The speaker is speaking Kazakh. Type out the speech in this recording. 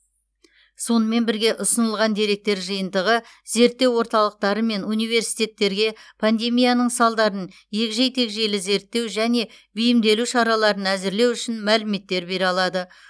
сонымен бірге ұсынылған деректер жиынтығы зерттеу орталықтары мен университеттерге пандемияның салдарын егжей тегжейлі зерттеу және бейімделу шараларын әзірлеу үшін мәліметтер бере алады